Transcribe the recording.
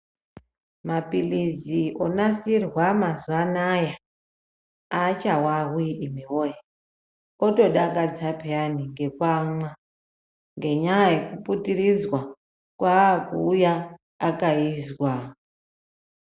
Mapilizi onasirwa mazuwa anaya aachawawi imwi woye otodakadza peyani ngekuamwa ngenyaya yekuputiridzwa kwaakuuya akaizwa.